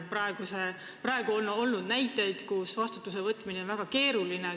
Praegu on olnud näiteid, kui vastutuse võtmine on olnud väga keeruline.